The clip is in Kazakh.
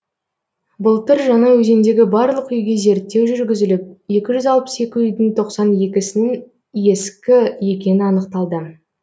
былтыр жаңаөзендегі барлық үйге зерттеу жүргізіліп екі жүз алпыс екі үйдің тоқсан екісінің ескі екені анықталды